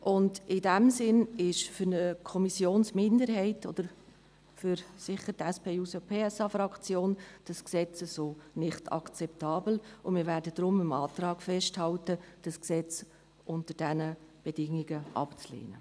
In diesem Sinne ist dieses Gesetz für eine Kommissionsminderheit – oder sicher für die SP-JUSO-PSA-Fraktion – so nicht akzeptabel, und wir werden deshalb am Antrag festhalten, das Gesetz unter diesen Bedingungen abzulehnen.